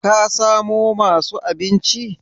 kasamo masu abinchi?